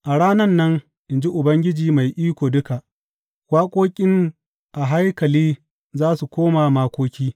A ranan nan, in ji Ubangiji Mai Iko Duka, Waƙoƙin a haikali za su koma makoki.